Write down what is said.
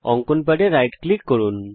অঙ্কন প্যাডে right click করুন